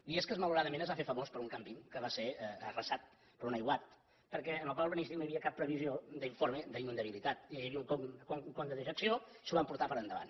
biescas malauradament es va fer famós per un càmping que va ser arrasat per un aiguat perquè en el pla urbanístic no hi havia cap previsió d’informe d’inundabilitat hi havia un con de dejecció i s’ho va emportar per endavant